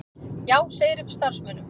Já segir upp starfsmönnum